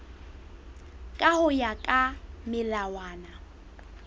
ka ho ya ka melawana